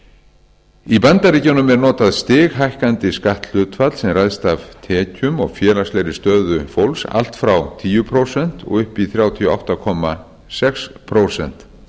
í bandaríkjunum er notað stighækkandi skatthlutfall sem ræðst af tekjum og félagslegri stöðu fólks allt frá tíu prósent og upp í þrjátíu og átta komma sex prósent